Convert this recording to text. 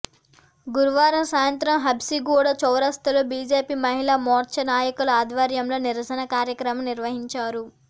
గురువారం సాయంత్రం హబ్సిగూడా చౌరస్తాలో బీజేపీ మహిళా మోర్చా నాయకుల ఆధ్వర్యంలో నిరసన కార్యక్రమం నిర్వహించారు